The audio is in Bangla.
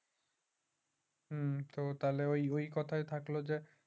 হুম তাহলে ওই ওই কথাই থাকলো